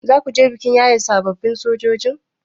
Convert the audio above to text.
Zakuje bikin yaye sababbin sojoji?